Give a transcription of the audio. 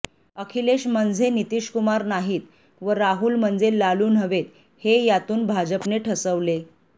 अखिलेश म्हणजे नितीशकुमार नाहीत व राहुल म्हणजे लालू नव्हेत हे यातून भाजपने ठसवले